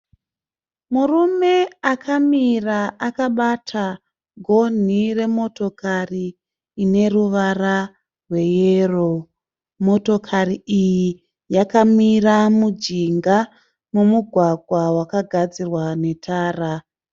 Murume akamira akabata gonhi remotokari ine ruvara rweyero. Motokari iyi yakamira mujinga memugwagwa wakagadzirwa netara.